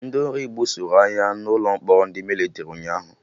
Ndị ori gbusoroagha n'ụlọ mkpọrọ ndị Mịlịtrị ụnyaahụ